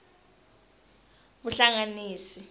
vuhlanganisi